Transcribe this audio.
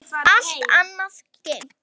Allt annað gleymt.